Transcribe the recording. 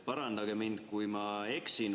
Parandage mind, kui ma eksin.